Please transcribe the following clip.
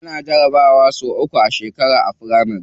Ana jarabawa sau uku a shekara a firamari.